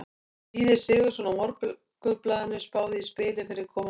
Víðir Sigurðsson á Morgunblaðinu spáði í spilin fyrir komandi leiki.